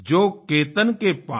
जो केतन के पात